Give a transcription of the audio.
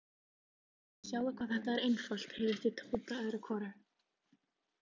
Sjáðu hvað þetta er einfalt, heyrðist í Tóta öðru hvoru.